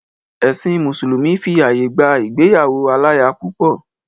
Ẹ̀sìn mùsùlùmí fi àyè gba ìgbéyàwó aláya púpọ̀.